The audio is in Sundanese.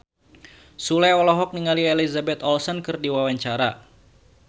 Sule olohok ningali Elizabeth Olsen keur diwawancara